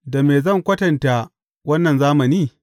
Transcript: Da me zan kwatanta wannan zamani?